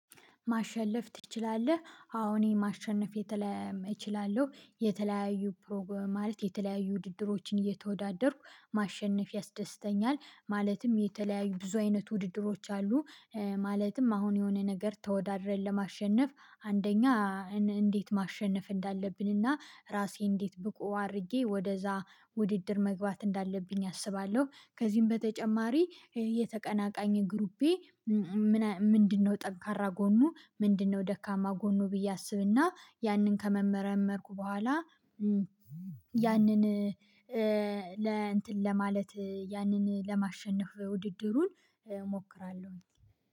ማሸለፍ ትችላለህ? አዎ እኔ ማሸነፍ የተለያየ እችላለሁ የተለያዩ ፕሮግ ማለት የተለያዩ ውድድሮችን እየተወዳደርኩ ማሸነፍ ያስደስተኛል ማለትም የተለያዩ ብዙ አይነት ውድድሮች አሉ ማለትም አሁን የሆነ ነገር ተወዳድረን ለማሸነፍ አንደኛ እንዴት ማሸነፍ እንዳለብን እና ራሴ እንዴት ብቁ አድርጌ ወደዛ ውድድር መግባት እንዳለብኝ አስባለሁ ከዚህም በተጨማሪ የተቀናቃኝ ግሩፔ ምንድነው ጠንካራ ጎኑ ምንድነው ደካማ ጎኑ ብዬ አስብና ያንን ከመመረመርኩ በኋላ ያንን ለማለት ያንን ለማሸነፍ ውድድሩን እሞክራለሁኝ።